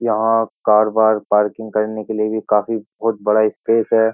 यहां कार बार पार्किंग करने के लिए भी काफी बहुत बड़ा स्पेस है।